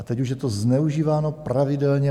A teď už je to zneužíváno pravidelně.